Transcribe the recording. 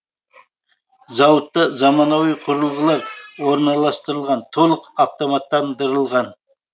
зауытта замануи құрылғылар орналастырылған толық автоматтандырылған